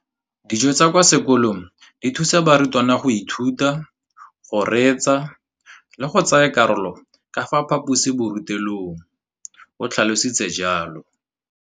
Dijo tsa kwa sekolong dithusa barutwana go ithuta, go reetsa le go tsaya karolo ka fa phaposiborutelong, o tlhalositse jalo.